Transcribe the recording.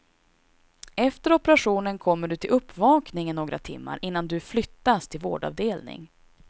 Efter operationen kommer du till uppvakningen några timmar innan du flyttas till vårdavdelning.